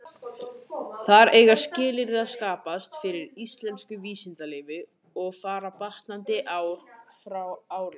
Þar eiga skilyrði að skapast fyrir íslensku vísindalífi, og fara batnandi ár frá ári.